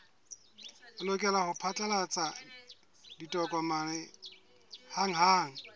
lokela ho phatlalatsa ditokomane hanghang